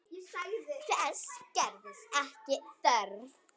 Þess gerðist ekki þörf.